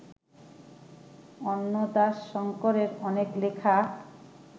অন্নদাশঙ্করের অনেক লেখা